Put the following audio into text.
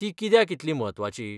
तीं कित्याक इतलीं म्हत्वाचीं?